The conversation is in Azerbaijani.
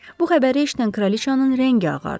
Bu xəbəri eşidən kraliçanın rəngi ağardı.